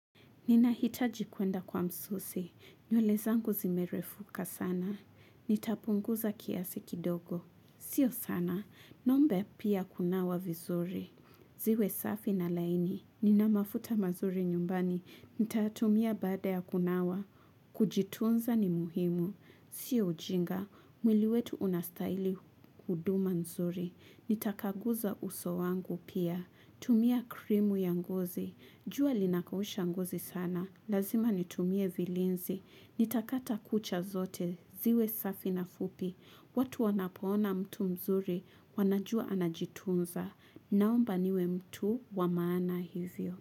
Ninahitaji kuenda kwa msusi. Nywele zangu zimerefuka sana. Nitapunguza kiasi kidogo. Sio sana. Nombe pia kunawa vizuri. Ziwe safi na laini. Ninamafuta mazuri nyumbani. Nitatumia baada ya kunawa. Kujitunza ni muhimu. Sio ujinga. Mwili wetu unastaili huduma nzuri. Nitakaguza uso wangu pia. Tumia krimu ya ngozi. Jua linakausha ngozi sana. Lazima nitumie vilinzi. Nitakata kucha zote. Ziwe safi na fupi. Watu wanapoona mtu mzuri wanajua anajitunza. Naomba niwe mtu wamaana hivyo.